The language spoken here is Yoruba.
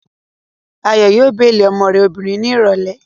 Ayọ̀ yóò béèlì ọmọ rẹ̀ obìnrin ní ìrọ̀lẹ́